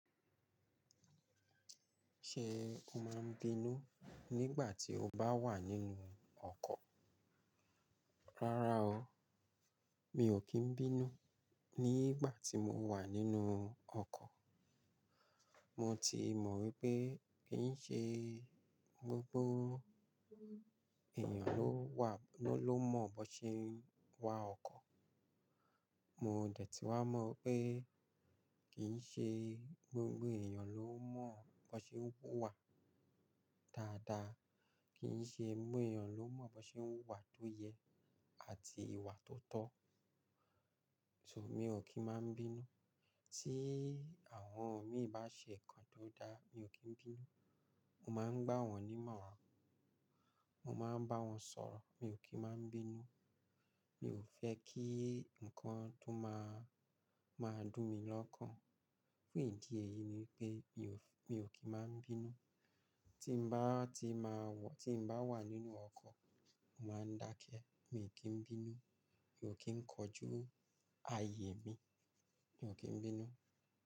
Ṣe o máa ń bínú nígbà tí o bá wà nínú ọkọ̀? Rárá o, mi ò kí ń bínú nígbà tí mo wà nínú ọkọ̀. Mo ti mọ̀ wípé kì ń ṣe gbogbo ènìyàn ló wà, ló mọ̀ bó ṣe ń wa ọkọ̀. Mo dẹ̀ tí wá mọ̀ pé kì ń ṣe gbogbo ènìyàn ló mọ̀ bó ṣe ń wà dáadáa, kì ń ṣe gbogbo ènìyàn ló mọ̀ bó ṣe ń wà tó yẹ àti ìwà tó tọ́. Nitori naa, mi ò kí ń máa ń bínú. Tí àwọn mi bá ṣe nǹkan tó dáa mi ò kí ń bínú. Mo máa ń gbá wọn nímọ̀ràn, mo máa ń bá wọn sọ̀rọ̀, mi ò kí ń máa ń bínú. Mi ò fẹ́ kí ǹkan tó máa, máa dùn mi lọ́kàn. Fúń ìdí èyí ni pé mi ò, mi ò kí ń máa ń bínú. Tí mo bá ti máa wọ̀, tí mo bá wà nínú ọkọ̀, mo máa ń dákẹ́, mi ò kí ń bínú, mi ò kí ń kojú ààyè mi, mi ò kí ń bínú.